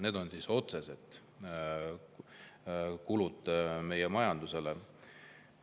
See on otsene kulu meie majandusele.